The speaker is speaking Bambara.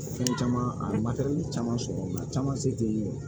Fɛn caman a caman sɔrɔ nka caman se tɛ yen